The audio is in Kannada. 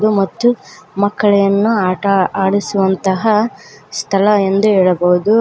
ಮತ್ತು ಮಕ್ಕಳನ್ನು ಆಟ ಆಡಿಸುವಂತಹ ಸ್ಥಳ ಎಂದು ಹೇಳಬಹುದು.